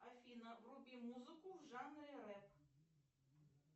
афина вруби музыку в жанре рэп